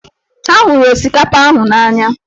Ha hụrụ osikapa ahụ na-anya.